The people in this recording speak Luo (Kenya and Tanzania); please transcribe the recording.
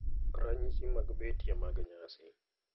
Ranyisi mag betie mag Nyasi.